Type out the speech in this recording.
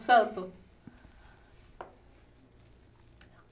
Santo.